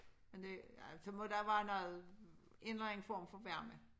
Men det ja så må der være noget en eller anden form for varme